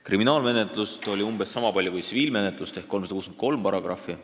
Kriminaalmenetluse paragrahve oli umbes sama palju kui tsiviilmenetluse omi: 363.